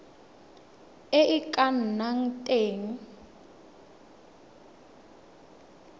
e e ka nnang teng